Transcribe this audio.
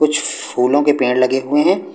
कुछ फूलों के पेड़ लगे हुए हैं।